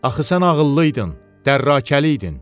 Axı sən ağıllıydın, dərrakəli idin.